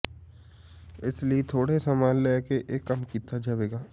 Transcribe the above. ਇਸ ਲਈ ਥੋੜਾ ਸਮਾਂ ਲੈ ਕੇ ਇਹ ਕੰਮ ਕੀਤਾ ਜਾਵੇਗਾ